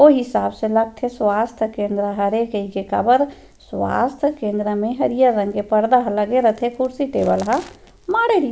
ओ हिसाब से लगथे स्वास्थ्य केंद्र हरे कहिके काबर स्वास्थ्य केंद्र में हरियर -हरिहर रंग के पर्दा लगत रहते कुर्सी टेबल ह माढ़े रही --